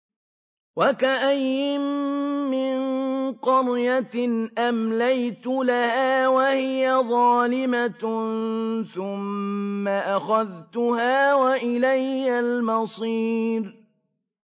وَكَأَيِّن مِّن قَرْيَةٍ أَمْلَيْتُ لَهَا وَهِيَ ظَالِمَةٌ ثُمَّ أَخَذْتُهَا وَإِلَيَّ الْمَصِيرُ